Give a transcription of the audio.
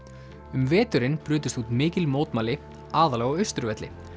um veturinn brutust út mikil mótmæli aðallega á Austurvelli